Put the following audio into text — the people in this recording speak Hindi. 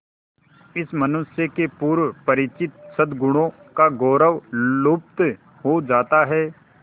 इस मनुष्य के पूर्व परिचित सदगुणों का गौरव लुप्त हो जाता है